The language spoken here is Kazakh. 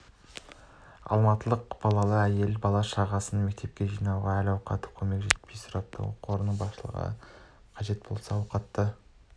алматылық балалы әйел бала-шағасын мектепке жинауға әл-ауқаты жетпей көмек сұрапты оқу орнының басшылығы қажет болса ауқатты